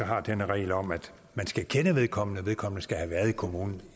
har denne regel om at man skal kende vedkommende at vedkommende skal have været kommunen